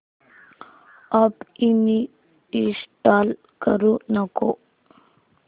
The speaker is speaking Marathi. अॅप अनइंस्टॉल करू नको